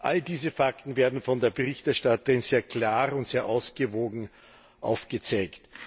All diese Fakten werden von der Berichterstatterin sehr klar und sehr ausgewogen aufgezeigt.